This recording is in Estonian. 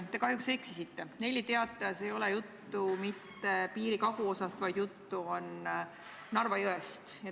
Te kahjuks eksisite: Nelli Teatajas ei olnud juttu mitte piiri kaguosast, vaid juttu oli Narva jõest.